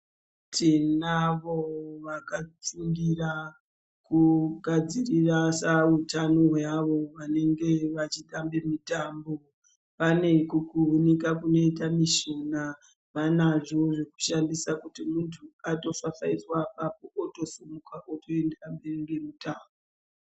Tinavo vakafundira kugadzirisa utano hweavo vanenge vachitambe mitambo. Vane kukurunika kunoita mishina vanazvo zvekushandisa kuti muntu atofafaidzwa otosimuka otoenda mberi ngemutambo.